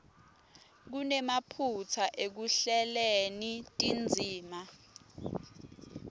kunemaphutsa ekuhleleni tindzima